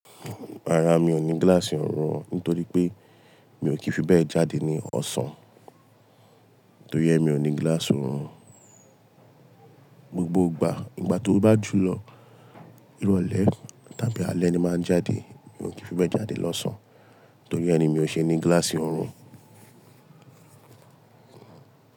Rárá, mi ò ní gíláàsì ọ̀rùn nítorí pé mi ò kí fi bẹ́ẹ̀ jáde ní ọ̀sán. Nítorí ẹ mi ò ní gíláàsì ọ̀rùn. Gbogbo ìgbà, nígbà tó bá jùlọ, irọ̀lẹ́ tàbí alẹ́ ni máa ń jáde. Mi ò kí fi bẹ́ẹ̀ jáde lọ́sàn án torí ẹ ni mi ò ṣe ní gíláàsì ọ̀rùn.